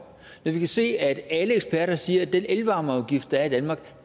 når vi kan se at alle eksperter siger at den elvarmeafgift der er i danmark